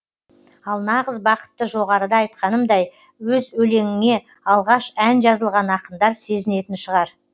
ал нағыз бақытты жоғарыда айтқанымдай өз өлеңіңе алғаш ән жазылған ақындар сезінетін шығар